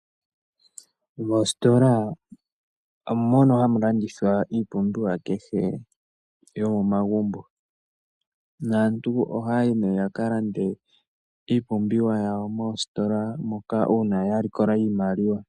Mositola omo mono hamu landithwa iipumbiwa kehe yomomagumbo. Naantu ohaya yi nee ya ka lande iipumbiwa yawo moositola moka uuna ya likola iimaliwa.